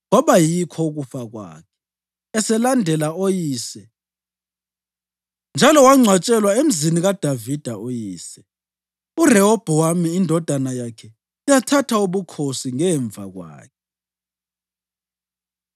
Kwaba yikho ukufa kwakhe eselandela oyise njalo wangcwatshwelwa emzini kaDavida uyise. URehobhowami indodana yakhe yathatha ubukhosi ngemva kwakhe.